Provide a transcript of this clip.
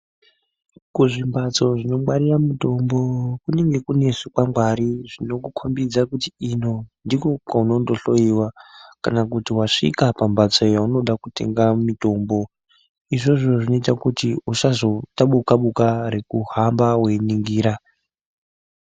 Kuzvimbatso zvinongwarira mitombo kunenge kune zvikwangwari zvinokukombidze kuti ino ndiko kwaunondohloiwa kana kuti wasvika pambatso yaunode kutenga mitombo izvozvo zvinoita kuti usazoita buka buka rekuhamba weiningira